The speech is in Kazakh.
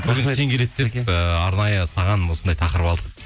і арнайы саған осындай тақырып алдық